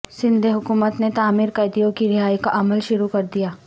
سندھ حکومت نے معمر قیدیوں کی رہائی کا عمل شروع کردیا